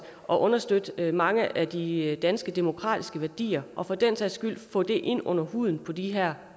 at understøtte mange af de danske demokratiske værdier og for den sags skyld få det ind under huden på de her